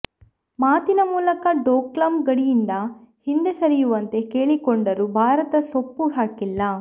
ಮಾತಿನ ಮೂಲಕ ಡೋಕ್ಲಾಂ ಗಡಿಯಿಂದ ಹಿಂದೆ ಸರಿಯುವಂತೆ ಕೇಳಿಕೊಂಡರೂ ಭಾರತ ಸೊಪ್ಪು ಹಾಕಿಲ್ಲ